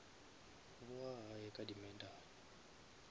bowa gae ka di medal